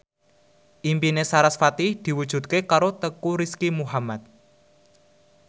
impine sarasvati diwujudke karo Teuku Rizky Muhammad